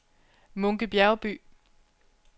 Munke Bjergby